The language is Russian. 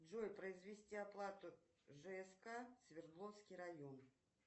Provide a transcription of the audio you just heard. джой произвести оплату жск свердловский район